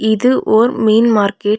இது ஒர் மீன் மார்க்கெட் .